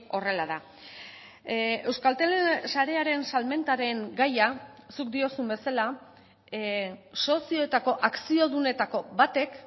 horrela da euskaltel sarearen salmentaren gaia zuk diozun bezala sozioetako akziodunetako batek